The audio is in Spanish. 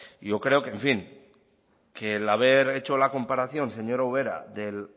yo creo que en fin que el haber hecho la comparación señora ubera del